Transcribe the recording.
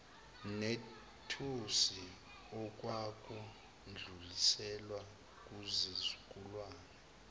nethusi okwakudluliselwa kuzizukulwane